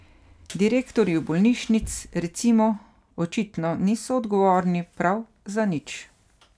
Direktorji bolnišnic, recimo, očitno niso odgovorni prav za nič.